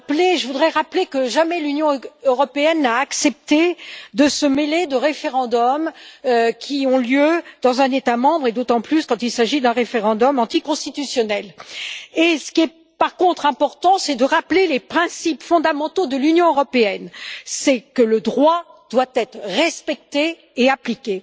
Je voudrais rappeler que jamais l'Union européenne n'a accepté de se mêler de référendums qui ont lieu dans un État membre, et d'autant plus quand il s'agit d'un référendum anticonstitutionnel. Par contre, ce qui est important, c'est de rappeler les principes fondamentaux de l'Union c'est que le droit doit être respecté et appliqué.